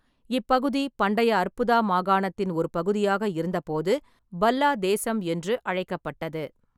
இப்பகுதி பண்டைய அற்புதா மாகாணத்தின் ஒரு பகுதியாக இருந்தபோது பல்லா-தேசம் என்று அழைக்கப்பட்டது.